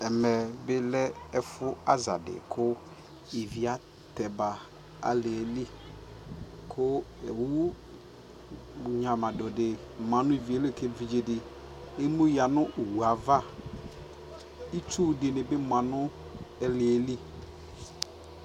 ɛmɛ bi lɛ ɛƒʋ aza di kʋ ivi atɛma nʋ aliɛli kʋ ɔwʋ nyamadʋ di manʋ iviɛ li kʋ ɛvidzɛ ɛmʋ yanʋ ɔwʋɛ aɣa, itsʋ dini bi manʋ aliɛli